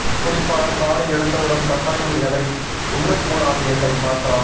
குறிப்பாக காலை எழுந்தவுடன் கட்டாயம் எதை உண்ண கூடாது என்பதை பார்க்கலாம்